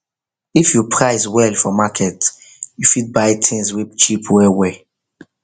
if you price well for market you fit buy things wey cheap well well